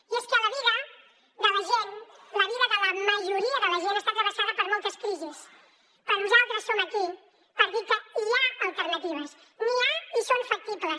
i és que la vida de la gent la vida de la majoria de la gent està travessada per moltes crisis però nosaltres som aquí per dir que hi ha alternatives n’hi ha i són factibles